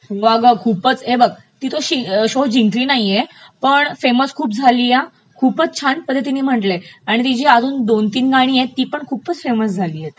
हो अगं खूपचं, हे बघ ती तो शो जिंकली नाहीये, पण खूपचं फेसम झालीय खूपचं छान पध्दतीने म्हटलयं आणि तिची अजून दोन तीन गाणी आहेत ती पण खूपचं फेमस झालीयत,